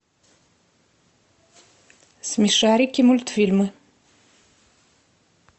смешарики мультфильмы